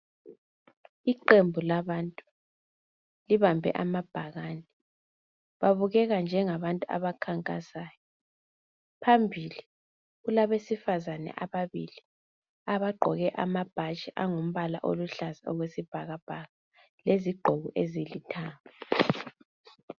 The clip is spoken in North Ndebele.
Iqembu labantu libambe amabhakane babukeka njengabantu abakhankasayo. Phambili kulabesifazane ababili abagqoke amabhatshi alombala oluhlaza okwesibhakabhaka lezigqoko ezilithanga.